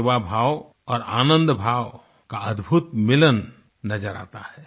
सेवाभाव और आनंदभाव का अद्भुत मिलन नज़र आता है